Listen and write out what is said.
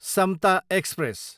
Samta express